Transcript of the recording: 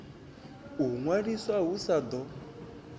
u ṅwaliswa hu sa ḓo